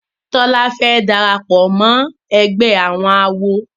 Tola fè darapọ̀ mọ ègbé àwọn àwo.